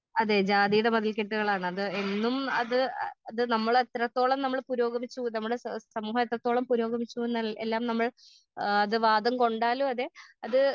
അതെ ജാതിയുടെ മതിൽക്കെട്ടുകളാണ് അത് എന്നും അത് ആ ഇത് എത്രത്തോളം നമ്മള് പുരോഗമിച്ചു നമ്മുടെ സ സമൂഹം എത്രത്തോളം എല്ലാം നമ്മൾ ആ ഇത് വാദം കൊണ്ടാലും അതെ അത്.